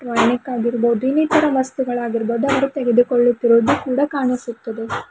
Tonic ಆಗಿರಬಹುದು ಇನ್ನಿತರ ವಸ್ತುಗಳಾಗಿರಬಹುದು ಅವರು ತೆಗೆದುಕೊಳ್ಳುತಿರುವುದು ಕೂಡ ಕಾಣಿಸುತ್ತಿದೆ.